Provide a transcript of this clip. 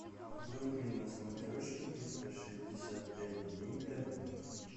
вруби на смотрешке триста шестьдесят пять дней тв